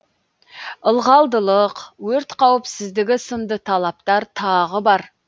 ылғалдылық өрт қауіпсіздігі сынды талаптар тағы бар